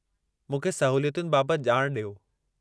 मूंखे सहूलियतुनि बाबत ॼाण डि॒यो।